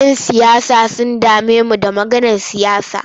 Yan siyasa sun dame mu da maganar siyasa.